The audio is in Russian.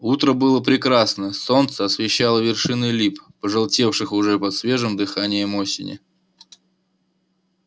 утро было прекрасное солнце освещало вершины лип пожелтевших уже под свежим дыханием осени